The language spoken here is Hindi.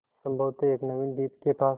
संभवत एक नवीन द्वीप के पास